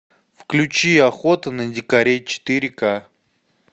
включи охота на дикарей четыре ка